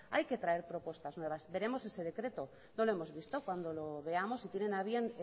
hay que traer propuestas nuevas veremos ese decreto no lo hemos visto cuando lo veamos si tienen a bien